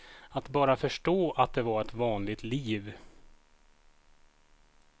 Att bara förstå att det var ett vanligt liv.